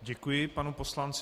Děkuji panu poslanci.